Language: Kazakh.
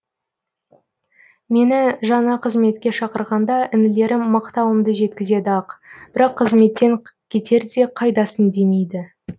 мені жаңа қызметке шақырғанда інілерім мақтауымды жеткізеді ақ бірақ қызметтен кетерде қайдасың демейді